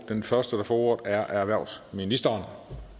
den første der får ordet er erhvervsministeren